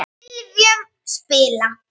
sifjum spilla